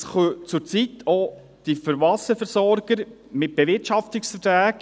Und das können zurzeit auch die Wasserversorger mit Bewirtschaftungsverträgen regeln.